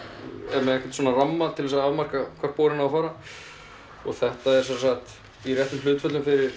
er með einhvern svona ramma til að afmarka hvert borinn á að fara þetta er í réttum hlutföllum fyrir